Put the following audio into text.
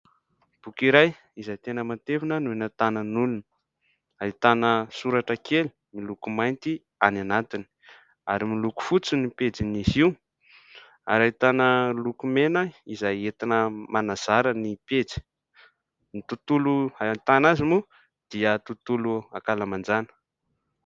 Boky iray izay tena matevina no eny an-tanan'olona, ahitana soratra kely miloko mainty any anatiny ary miloko fotsy ny pejin'izy io ary ahitana lokomena izay entina manazara ny pejy, ny tontolo ahitana azy moa dia tontolo ankalamanjana.